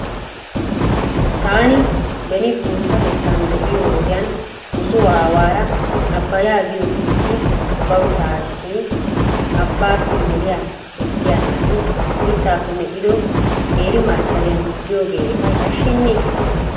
Taani beni guuttatettan de'iyoo wodiyan nuso aawaara abaayaa giyoo biitti bawttaashi abaappe moliyaa kessiyaa naati mitaappe medhdhido qeeri markkabiyan biyoogee eta yashsheeyye?